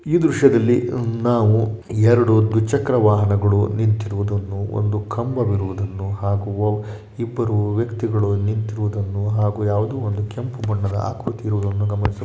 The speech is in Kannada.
ಈ ದೃಶ್ಯದಲ್ಲಿ ನಾವು ಎರಡು ದ್ವಿಚಕ್ರವಾಹನಗಳು ನಿಂತಿರುವುದನ್ನು ಒಂದು ಕಂಬ ಇರುವುದನ್ನು ಹಾಗೂ ಇಬ್ಬರು ವ್ಯಕ್ತಿಗಳು ನಿಂತಿರುವುದನ್ನು ಹಾಗೂ ಯಾವುದೋ ಒಂದು ಕೆಂಪು ಬಣ್ಣದ ಆಕೃತಿ ಇರುವುದನ್ನು ಗಮನಿಸಬಹುದು --